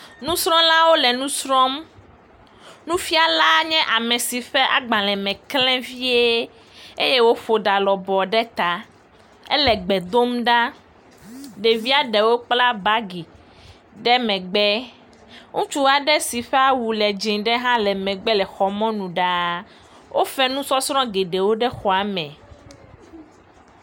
Nusrɔ̃lawo le nu srɔ̃m. Nufiala nye ame si ƒe agbalẽ me klẽ vie eye eye woƒo ɖa lɔbɔ ɖe ta eye. Ele gbe dom ɖa. Ɖevia ɖewo kpla bagi ɖe megbe. Ŋutsu aɖe si ƒe awu le dzɛ̃e aɖe hã le megbe le xɔ mɔnu ɖaa. Wofa nusɔsrɔ̃ geɖe le xɔa me.